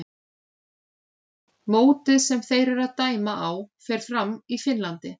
Mótið sem þeir eru að dæma á fer fram í Finnlandi.